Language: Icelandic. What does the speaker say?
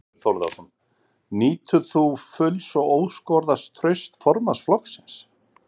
Þorbjörn Þórðarson: Nýtur þú fulls og óskoraðs trausts formanns flokksins?